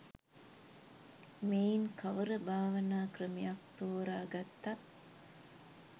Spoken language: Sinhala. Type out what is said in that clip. මෙයින් කවර භාවනා ක්‍රමයක් තෝරා ගත්තත්